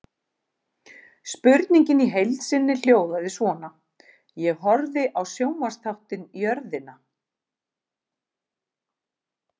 Spurningin í heild sinni hljóðaði svona: Ég horfði á sjónvarpsþáttinn Jörðina.